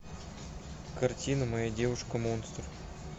картина моя девушка монстр